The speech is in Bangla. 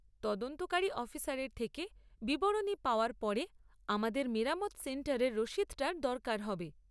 তদন্তকারী অফিসারের থেকে বিবরণী পাওয়ার পরে আমাদের মেরামত সেন্টারের রসিদটার দরকার হবে।